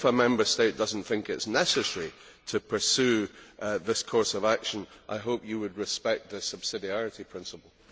If a Member State does not think it is necessary to pursue this course of action, I hope you would respect the subsidiarity principle.